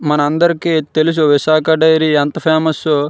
మన అందరికి తెలుసు విశాఖ డైరీ ఎంత ఫేమస్ ఓ.